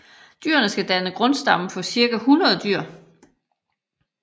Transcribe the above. Dyrene skal danne grundstammen for cirka 100 dyr